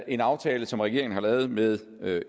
en aftale som regeringen har lavet med